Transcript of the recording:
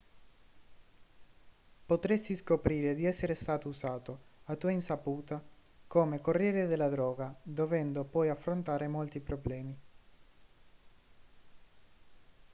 potresti scoprire di essere stato usato a tua insaputa come corriere della droga dovendo poi affrontare molti problemi